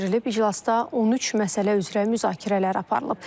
İclasda 13 məsələ üzrə müzakirələr aparılıb.